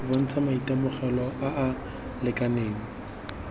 bontsha maitemogelo a a lekaneng